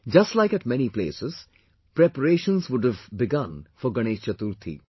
Just like at many places, preparations would have begun for Ganesh Chaturthi